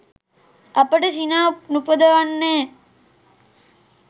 අපට සිනා නුපදවන්නේ